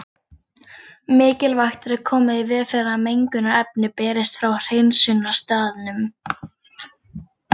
Mikilvægt er að koma í veg fyrir að mengunarefni berist frá hreinsunarstaðnum.